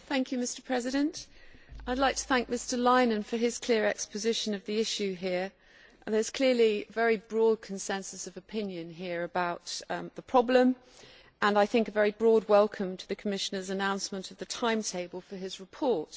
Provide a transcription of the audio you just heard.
Mr President, I would like to thank Mr Leinen for his clear exposition of the issue here. There is clearly a very broad consensus of opinion here about the problem and, I think, a very broad welcome for the Commissioner's announcement of the timetable for his report.